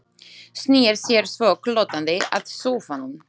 Snýr sér svo glottandi að sófanum.